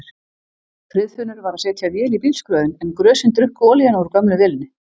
Friðfinnur var að setja vél í bílskrjóðinn en grösin drukku olíuna úr gömlu vélinni.